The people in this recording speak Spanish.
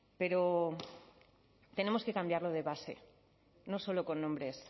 pero tenemos que cambiarlo de base no solo con nombres